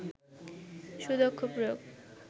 সুদক্ষ প্রয়োগ